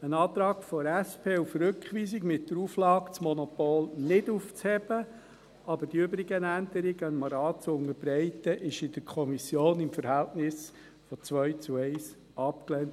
Ein Antrag der SP auf Rückweisung mit der Auflage, das Monopol nicht aufzuheben, aber dem Rat die übrigen Änderungen zu unterbreiten, wurde in der Kommission im Verhältnis von 2 zu 1 abgelehnt.